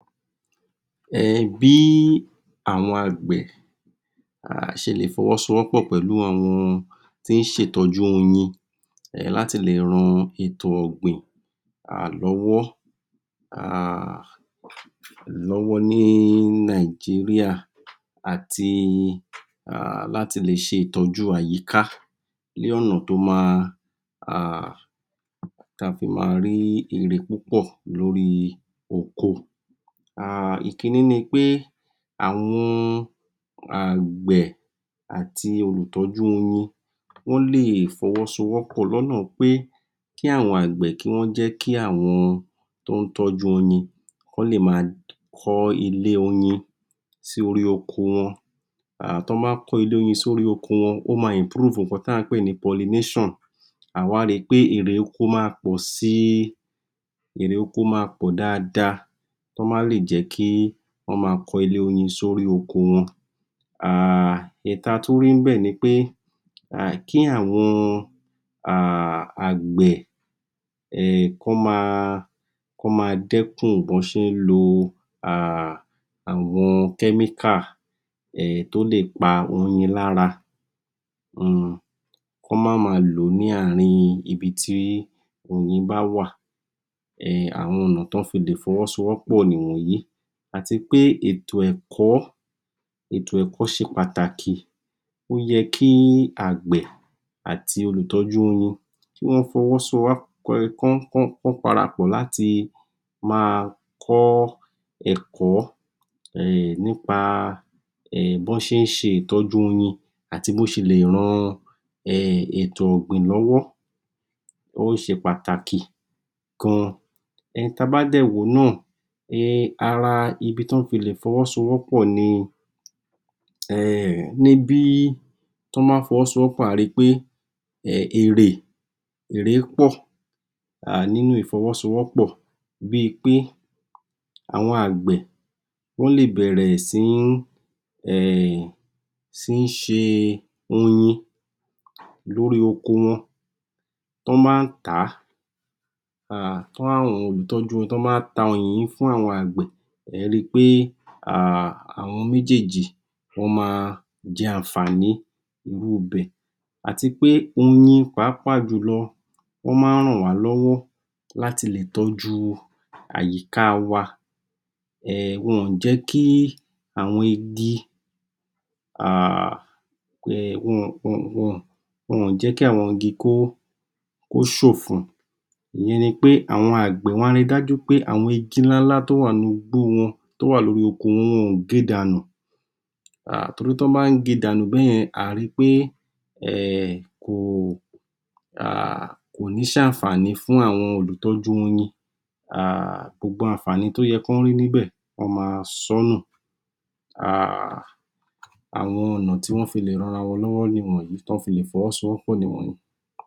um Bí àwọn ágbẹ̀ ṣe lè fọwọ́ sowọ́pọ̀ pẹ̀lú àwọn tín ṣe ìtọ́jú oyin, láti le ran ètò ọ̀gbìn um lọ́wọ́ um ní Nàìjíríà àti láti le ṣe ìtọ́jú àyíká ní ọ̀na tó ma um ta fi máa rí èrè púpọ́ lórí oko. um Ìkíní ni pé, àwọn àgbẹ̀ àti olùtọ́jú oyin wọn lè fọwọ́ sowọ́pọ̀ lọ́nà pé, kí wọ́n jẹ́ kí àwọn tọ́n tọ́jú oyin kọ́n lè máa kọ́ ilé oyin sí orí oko wón. T'ọ́n bá kọ́ ilé oyin sórí oko wọn o máa improve ǹkan táà pè ní pọllination. À wá ríi pe, éré oko máa pọ̀ sii, éré oko máa pọ̀ dáadáa tọ́n bá kọ́ ilé oyin sórí oko wọn. Èyí ta tún rí níbẹ̀ nipé kí àwọn àgbẹ̀ kán ma dẹ́kun bí wọ́n ṣe ń lo àwọn chemical tó lè pa oyin lára um kán má maa lò ní àárín ibití oyin bá wà. um Àwọn ọ̀nà t'ọ́n le fi sowọ́pọ̀ nìwọ̀nyí. Àtipé ètò ẹ̀kọ́, ètò ẹ̀kọ́ ṣe pàtàkì ó yẹ kí àgbẹ̀ àti olùtọ́jú oyin kán parapọ̀ láti máa kọ́ ẹ̀kọ́ um nípa bọ́n ṣe ń ṣe ìtọ́jú w wọ́n ọn àti bọ́n ṣe le ran ètò ọ̀gbìn lọ́wọ́. Ó ṣe pàtàkì gan. um Ta bá dẹ̀ wó nà um ara ibi tọ́n ti le fọwọ́ sowọ́pọ̀ ni? ni bí t'ọ́n bá fọwọ́ sowọ́pọ̀ a ri pé um èrè pọ̀ nínú ìfọwọ́sowọ́pọ̀. Bíi pé àwọn àgbẹ̀ wọ́n lè bẹ̀rẹ̀ sí ń um ṣe oyin lórí oko wọn. T'ọ́n bá tàa um tọ́n rí àwọn enìyàn tọ́jú wọn. Tọ́n bá tàa oyin yìí fún àwọn àgbẹ̀, ẹ̀ẹ́ rí i pe um àwọn méjèèjì wọ́n ma jẹ ànfààní inú ibẹ̀. À ti pé oyin pàápà jùlọ wọ́n má ń ràn wá lọ́wọ́ láti le tọ́jú àyíká wa. um Wọn ò jẹ́ kí àwọn igi wọn ò jẹ́ kí àwọn igi kó. Ìyẹn ni pé àwọn àgbẹ̀ wọ́n ri dájú pé, àwọn igi ńlá ńlá tó wà nínú igbó wọn, tó wà nínú oko wọn, wọn ò ge dànù, torí tọ́n bá ń ge dànù bẹ́yẹn àá ri pé kò ní ṣ' ànfààní fùn àwọn olùtọ́jú oyin. Gbogbo ànfààní tó yẹn kán rí níbẹ̀, wọ́n máa sọ́nu àwọn ọ̀na tí wọ́n fi le ranra wọ́n lọ́wọ́ níwọ̀nyí, t'ọ́n fi le fọwọ́ sowọ́pọ̀ níwọ̀nyí